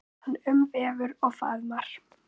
Hann umvefur og faðmar.